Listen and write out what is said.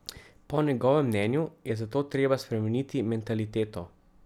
Po njegovem mnenju je zato treba spremeniti mentaliteto.